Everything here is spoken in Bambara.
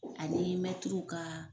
Ani mɛtiriw kaa